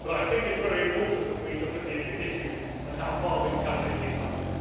I think it is very important that we look at the issues and see how far we have come in eighteen months.